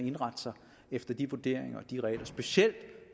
indrette sig efter de vurderinger og de regler specielt